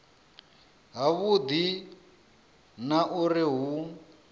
ha vhudi na uri hu